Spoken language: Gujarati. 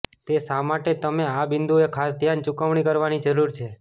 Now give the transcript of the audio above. તે શા માટે તમે આ બિંદુએ ખાસ ધ્યાન ચૂકવણી કરવાની જરૂર છે